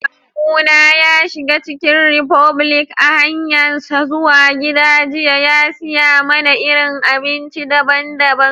Kawu na ya shiga chicken republic a'hanyan zuwa gida jiya ya siya mana irin abinci dabban-dabban.